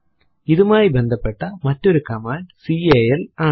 ഇതുമായി ബന്ധപ്പെട്ട മറ്റൊരു കമാൻഡ് കാൽ ആണ്